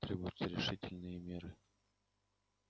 требуются решительные меры